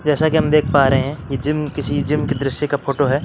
जैसा कि हम देख पा रहे हैं ये जिम किसी जिम के दृश्य का फोटो है ।